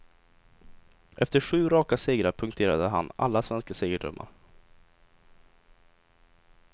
Efter sju raka segrar punkterade han alla svenska segerdrömmar.